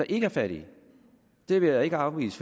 ikke er fattige det vil jeg ikke afvise